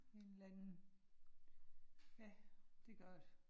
En eller anden. Ja, det gør det